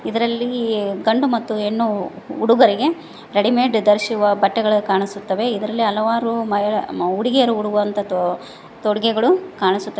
ಇದರಲ್ಲಿ ಗಂಡು ಮತ್ತು ಹೆಣ್ಣು ಹುಡುಗರಿಗೆ ರೆಡಿಮೇಡ್ ಧರಿಸಿರುವ ಬಟ್ಟೆಗಳನ್ನು ಕಾಣಿಸುತ್ತವೆ ಇದರಲ್ಲಿ ಹಲವಾರು ಮಹಿಳೆ ಹುಡುಗಿಯರು ಉಡುವಂತ ತೋ ತೊಡುಗೆಗಳು ಕಾಣಿಸುತ್ತವೆ.